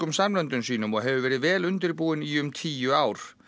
samlöndum sínum og hefur verið vel undirbúin í um tíu ár